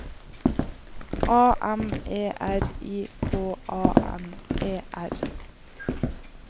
A M E R I K A N E R